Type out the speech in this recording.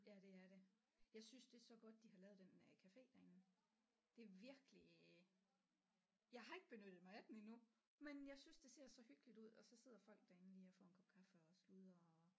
Ja det er det jeg synes det er så godt de har lavet den øh café derinde det er virkelig jeg har ikke benyttet mig af den endnu men jeg synes det ser så hyggeligt ud og så sidder folk derinde lige og får en kop kaffe og sludrer og